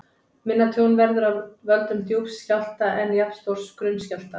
Minna tjón verður af völdum djúps skjálfta en jafnstórs grunns skjálfta.